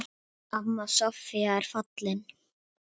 Amma Soffía er fallin.